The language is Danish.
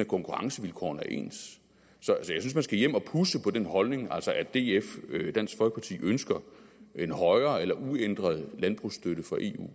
at konkurrencevilkårene er ens så jeg synes man skal hjem og pudse på den holdning altså at df ønsker en højere eller uændret landbrugsstøtte fra eu